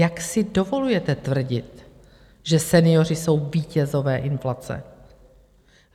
Jak si dovolujete tvrdit, že senioři jsou vítězové inflace?